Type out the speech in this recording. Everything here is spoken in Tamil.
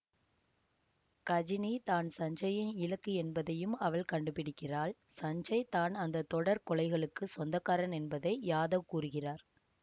கஜினி தான் சஞ்சயின் இலக்கு என்பதையும் அவள் கண்டுபிடிக்கிறாள் சஞ்சய் தான் அந்த தொடர் கொலைகளுக்கு சொந்தக்காரன் என்பதை யாதவ் கூறுகிறார்